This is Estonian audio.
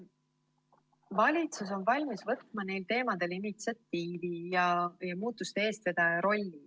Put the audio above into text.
Valitsus on valmis võtma neil teemadel initsiatiivi ja muutuste eestvedaja rolli.